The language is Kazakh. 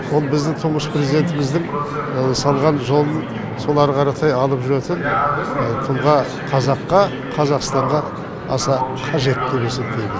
ол біздің тұнғыш президентіміздің салған жолын сол ары қаратай алып жүретін тұлға қазаққа қазақстанға аса қажет деп есептеймін